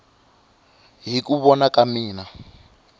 hi ku vona ka mina